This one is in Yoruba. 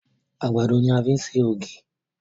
Àgbàdo ní a fi ṣe ògì.